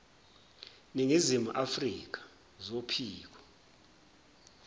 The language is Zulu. ningizimu afrka zophiko